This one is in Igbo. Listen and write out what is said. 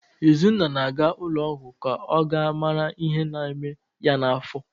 Izunna na-aga ụlọọgwụ ka ọ gaa mara ihe na-eme ya n'afọ